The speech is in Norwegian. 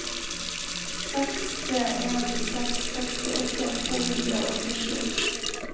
seks tre en seks sekstiåtte to hundre og åttisju